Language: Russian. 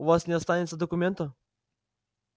у вас не останется документа